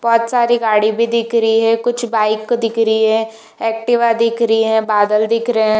बहुत सारी गाडी भी दिख रहे हैंकुछ बाइक दिख रही है एक्टिवा दिख रही हैबादल दिख रहे है।